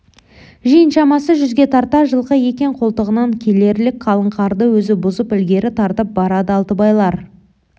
жиын шамасы жүзге тарта жылқы екен қолтығынан келерлік қалың қарды өзі бұзып ілгері тартып барады алтыбайлар